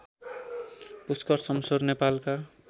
पुष्कर शमशेर नेपालका